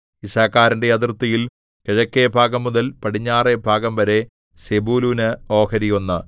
യിസ്സാഖാരിന്റെ അതിർത്തിയിൽ കിഴക്കെഭാഗംമുതൽ പടിഞ്ഞാറെ ഭാഗംവരെ സെബൂലൂന് ഓഹരി ഒന്ന്